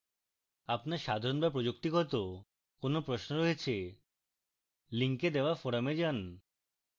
আপনার সাধারণ/প্রযুক্তিগত কোন প্রশ্ন রয়েছে link দেওয়া forum যান